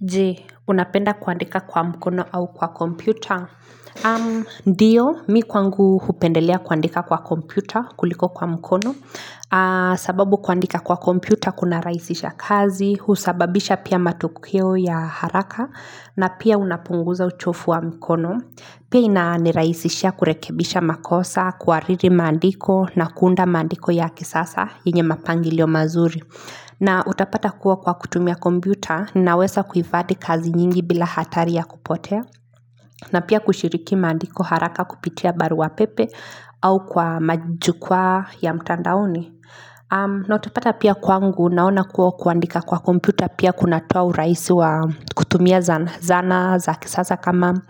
Je, unapenda kuandika kwa mkono au kwa kompyuta? Ndio, mimi kwangu hupendelea kuandika kwa kompyuta kuliko kwa mkono. Sababu kuandika kwa kompyuta, kunarahisisha kazi, husababisha pia matokeo ya haraka, na pia unapunguza uchovu wa mkono. Pia inanirahisishia kurekebisha makosa, kuhariri maandiko, na kuunda maandiko ya kisasa, yenye mapangilio mazuri. Na utapata kuwa kwa kutumia kompyuta ninaweza kuhifadhi kazi nyingi bila hatari ya kupotea na pia kushiriki maandiko haraka kupitia barua pepe au kwa majukwaa ya mtandaoni na utapata pia kwangu naona kuwa kuandika kwa kompyuta pia kunatoa urahisi wa kutumia zana za kisasa kama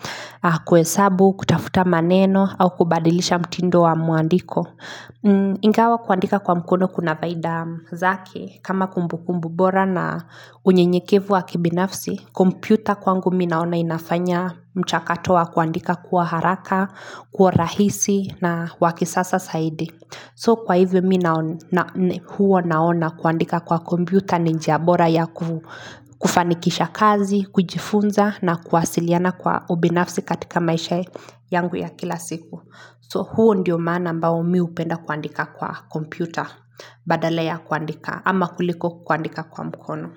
kuhesabu, kutafuta maneno au kubadilisha mtindo wa mwandiko Ingawa kuandika kwa mkono kuna faida zake kama kumbukumbu bora na unyenyekevu wa kibinafsi kompyuta kwangu mimi naona inafanya mchakato wa kuandika kwa haraka Kwa urahisi na wa kisasa zaidi So kwa hivyo huwa naona kuandika kwa kompyuta ni njia bora ya kufanikisha kazi, kujifunza na kuwasiliana kwa ubinafsi katika maisha yangu ya kila siku So huo ndio maana ambao mimi hupenda kuandika kwa kompyuta badala ya kuandika ama kuliko kuandika kwa mkono.